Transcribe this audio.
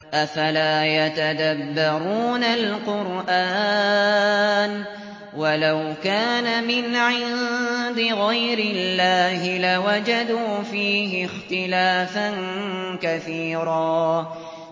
أَفَلَا يَتَدَبَّرُونَ الْقُرْآنَ ۚ وَلَوْ كَانَ مِنْ عِندِ غَيْرِ اللَّهِ لَوَجَدُوا فِيهِ اخْتِلَافًا كَثِيرًا